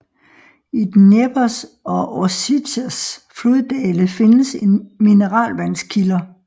I Dneprs og Orsjitsas floddale findes mineralvandskilder